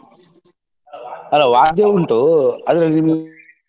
ಅಲ್ಲ ವಾದ್ಯ ಉಂಟು .